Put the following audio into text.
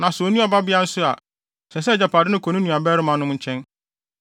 Na sɛ onni ɔbabea nso a, ɛsɛ sɛ agyapade no kɔ ne nuabarimanom nkyɛn.